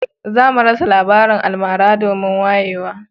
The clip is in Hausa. Za a rasa labarin almara domin wayewa